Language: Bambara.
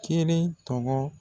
Kelen tɔgɔ